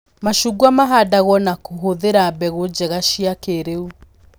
Macungwa mahandagwo na kũhũthĩra mbegũ njega cia kĩĩriu